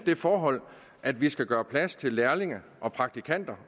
det forhold at vi skal gøre plads til lærlinge og praktikanter